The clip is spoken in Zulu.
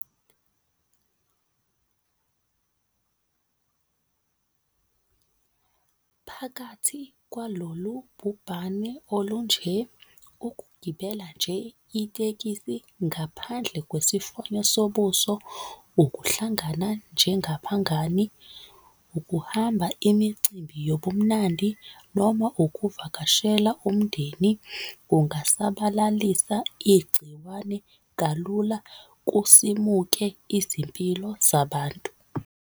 Phakathi kwalolu bhubhane olunje, ukugibela nje itekisi ngaphandle kwesimfonyo sobuso ukuhlangana njengabangani, ukuhamba imicimbi yobumnandi noma ukuvakashela umndeni, kungasabalalisa igciwane kalula kusimuke izimpilo zabantu.